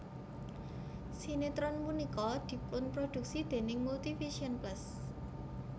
Sinetron punika dipunproduksi déning Multivision Plus